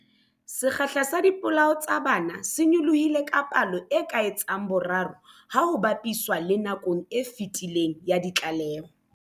Sekgahla sa dipolao tsa bana se nyolohile ka palo e ka etsang boraro ha ho ba piswa le nakong e fetileng ya ditlaleho.